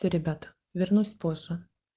все ребята вернусь попозже